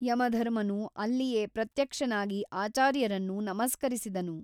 ಯಮಧರ್ಮನು ಅಲ್ಲಿಯೇ ಪ್ರತ್ಯಕ್ಷನಾಗಿ ಆಚಾರ್ಯರನ್ನು ನಮಸ್ಕರಿಸಿದನು.